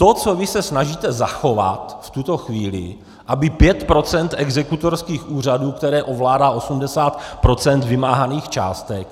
To, co vy se snažíte zachovat v tuto chvíli, aby 5 % exekutorských úřadů, které ovládají 80 % vymáhaných částek.